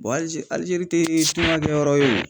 alizeri tɛ kuma kɛ yɔrɔ ye o